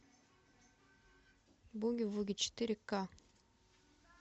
буги вуги четыре ка